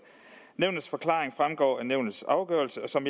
nævnets forklaring fremgår af nævnets afgørelse og som